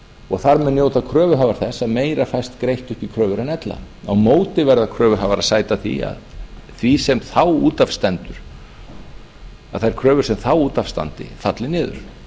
og þar með njóta kröfuhafar þess að meira fæst greitt upp í kröfur en ella á móti verða kröfuhafar að sæta því að þær kröfur sem þá út af standa falli niður